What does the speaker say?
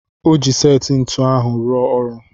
Ọ ji seti ntụnụ ahụ ruo ọrụ.